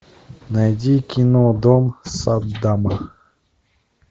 найди кино дом саддама